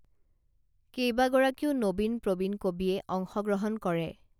কেইবাগৰাকীও নবীন প্ৰবীণ কবিয়ে অংশগ্ৰহণ কৰে